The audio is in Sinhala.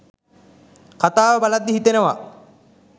කතාව බලද්දී හිතෙනවා.